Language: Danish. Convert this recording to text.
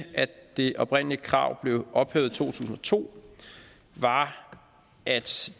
at det oprindelige krav blev ophævet i to tusind og to var at